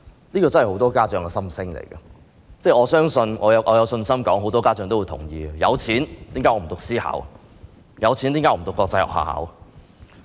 這真的是很多家長的心聲，我相信很多家長也會同意，有錢寧願讀私校，有錢寧願讀國際學校。